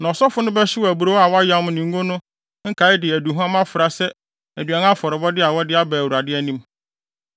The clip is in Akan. Na ɔsɔfo no bɛhyew aburow a wɔayam ne ngo no nkae de aduhuam afra sɛ aduan afɔrebɔde a wɔde aba Awurade anim.